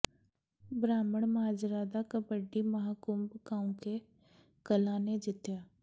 ਬ੍ਰਾਹਮਣ ਮਾਜਰਾ ਦਾ ਕਬੱਡੀ ਮਹਾਂਕੁੰਭ ਕਾਉਂਕੇ ਕਲਾਂ ਨੇ ਜਿੱਤਿਆ